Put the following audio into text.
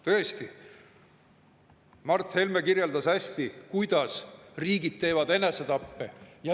Tõesti, Mart Helme kirjeldas hästi, kuidas riigid teevad enesetappe.